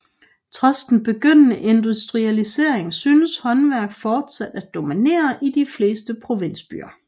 Trods den begyndende industrialisering synes håndværk fortsat at dominere i de fleste provinsbyer